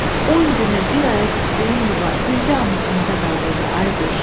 On günə, bir aya tikdiyin yuva, bircə an içində dağıldı, Ayquş.